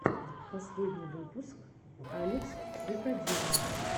последний выпуск алекс викодинов